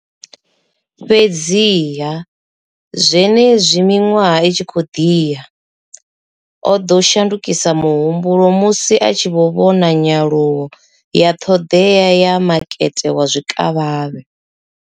Fhedziha, zwenezwi miṅwaha i tshi khou ḓi ya, o ḓo shandukisa muhumbulo musi a tshi vhona nyaluwo ya ṱhoḓea ya makete wa zwikavhavhe.